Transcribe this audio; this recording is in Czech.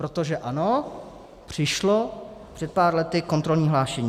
Protože ano, přišlo před pár lety kontrolní hlášení.